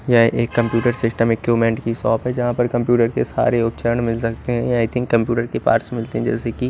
यह एक computer system equipment की शॉप है जहाँ पर कम्पयूटर के सारे उत्चर्ण मिल सकते है आई थिंग कम्पयूटर के पास मिलते है जैसे की--